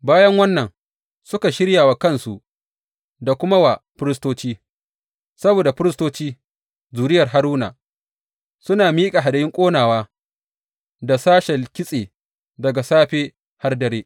Bayan wannan, suka shirya wa kansu da kuma wa firistoci, saboda firistoci, zuriyar Haruna, suna miƙa hadayun ƙonawa da sashen kitse daga safe har dare.